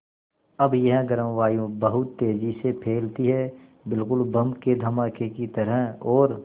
अब यह गर्म वायु बहुत तेज़ी से फैलती है बिल्कुल बम के धमाके की तरह और